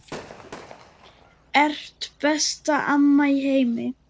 Ert besta amma í heimi.